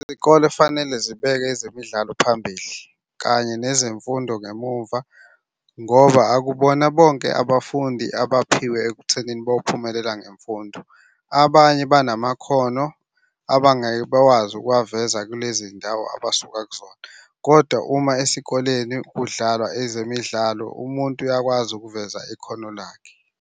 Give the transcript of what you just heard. Izikole fanele zibeke ezemidlalo phambili, kanye nezemfundo ngemumva ngoba akubona bonke abafundi abaphiwe ekuthenini bophumelela ngemfundo. Abanye banamakhono abangeke bakwazi ukuwaveza kulezi ndawo abasuka kuzona, kodwa uma esikoleni kudlalwa ezemidlalo umuntu uyakwazi ukuveza ikhono lakhe.